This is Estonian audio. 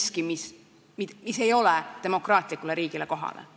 See on miski, mis ei ole demokraatlikule riigile kohane.